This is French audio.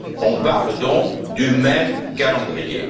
On parle donc du même calendrier.